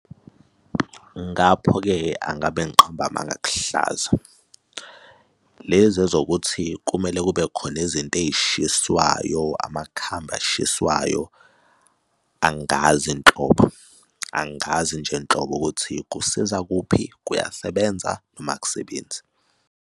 Ngapho-ke angabe ngiqamba amanga akuhlaza. Lezi ezokuthi kumele kube khona izinto ey'shiswayo amakhambi eshiswayo angazi nhlobo, angazi nje nhlobo ukuthi kusiza kuphi, kuyasebenza noma akusebenzi.